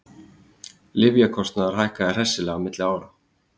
Lyfjakostnaður hækkaði hressilega milli ára